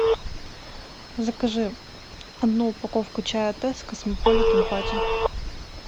закажи одну упаковку чая тесс космополитен пати